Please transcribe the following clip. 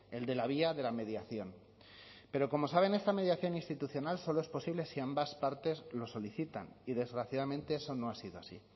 el de la vía de la mediación pero como saben esta mediación institucional solo es posible si ambas partes lo solicitan y desgraciadamente eso no ha sido así